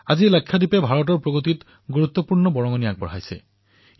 আজি লাক্ষাদ্বীপে ভাৰতৰ প্ৰগতিত নিজৰ গুৰুত্বপূৰ্ণ অৱদান আগবঢ়াবলৈ সমৰ্থ হৈছে